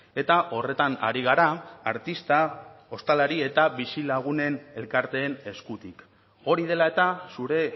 eta horretan ari gara artista ostalari eta bizilagunen elkarteen eskutik hori dela eta zure